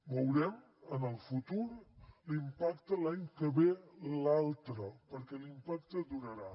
veurem en el futur l’impacte l’any que ve i l’altre perquè l’impacte durarà